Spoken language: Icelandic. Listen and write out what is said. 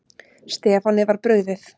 Stefáni var brugðið.